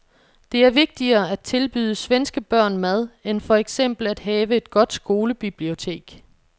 Det er vigtigere at tilbyde svenske børn mad end for eksempel at have et godt skolebibliotek.